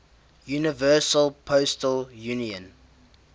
universal postal union